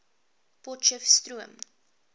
potcheftsroom